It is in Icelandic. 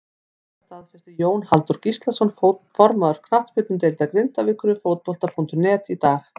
Þetta staðfesti Jón Halldór Gíslason formaður knattspyrnudeildar Grindavíkur við Fótbolta.net í dag.